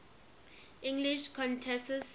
english countesses